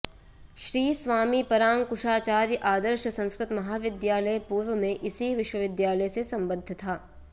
श्री स्वामी परांकुशाचार्य आदर्श संस्कृत महाविद्यालय पूर्व में इसी विश्वविद्यालय से संबद्ध था